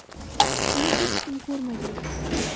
Uni hech kim ko‘rmagan.